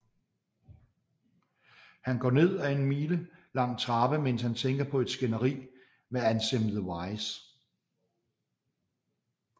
HAn går ned af en mile lang trappe mens han tænker på et skænderi med Ansem The Wise